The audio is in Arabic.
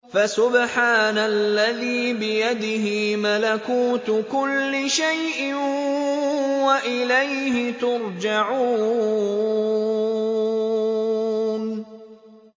فَسُبْحَانَ الَّذِي بِيَدِهِ مَلَكُوتُ كُلِّ شَيْءٍ وَإِلَيْهِ تُرْجَعُونَ